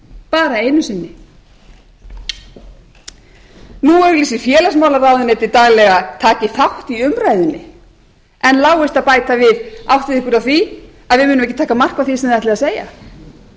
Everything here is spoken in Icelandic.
bara einu sinni nú auglýsir félagsmálaráðuneytið takið þátt í umræðunni en láist að bæta við áttið ykkur á því að við munum ekki taka mark á því sem þið ætlið að segja slíka